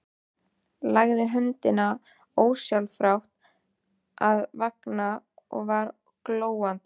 Lagði höndina ósjálfrátt að vanga, ég var glóandi.